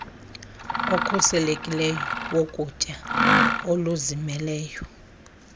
okhuselekileyo wokutya oluzimeleyo